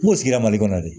N kun sigira mali kɔnɔ dɛ